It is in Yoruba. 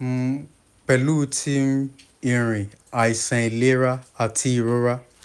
um pẹlu ti um nrin aiṣan ailera ati irora